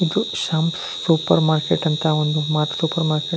ಇದು Sham supermarket ಅಂತ ಒಂದು ಸೂಪರ್ ಮಾರ್ಕೆಟ್ .